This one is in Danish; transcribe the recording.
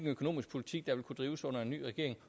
parti